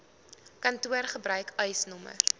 kantoor gebruik eisnr